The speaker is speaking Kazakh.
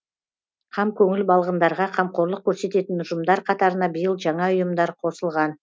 қамкөңіл балғындарға қамқорлық көрсететін ұжымдар қатарына биыл жаңа ұйымдар қосылған